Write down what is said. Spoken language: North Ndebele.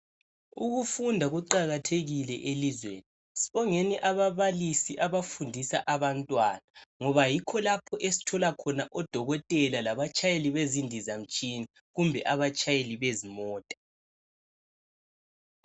Ukufunda kuqakathekile elizweni, sibongeni ababalisi abafundisa abantwana ngoba yikho lapho esithola khona odokotela labatshayeli bezindizamtshina kumbe abatshayeli bezimota.